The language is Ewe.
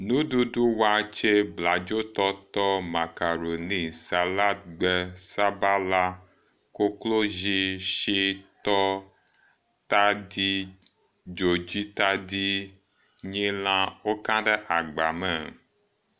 Nuɖuɖu: watse, bladzotɔtɔ, makaroliŋ, saladgbe, sabala, koklozi, shitɔ, tadi, dzodzitadi, nyilã woka ɖe agbame.